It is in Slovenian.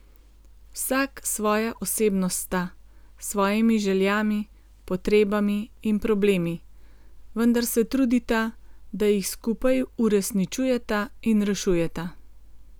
Vsak svoja osebnost sta, s svojimi željami, potrebami in problemi, vendar se trudita, da jih skupaj uresničujeta in rešujeta.